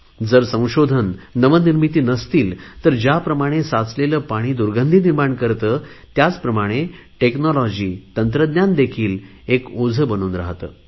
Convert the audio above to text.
जर संशोधन नवनिर्मिती नसतील तर ज्याप्रमाणे साचलेले पाणी दुर्गंधी निर्माण करते त्याचप्रमाणे तंत्रज्ञान देखील एक ओझे बनून राहाते